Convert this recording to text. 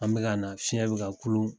An bɛ ka na fiɲɛ bɛ ka kulun